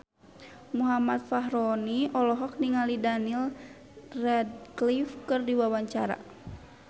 Muhammad Fachroni olohok ningali Daniel Radcliffe keur diwawancara